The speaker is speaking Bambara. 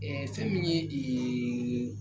fɛn min ye